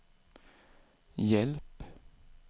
hjälp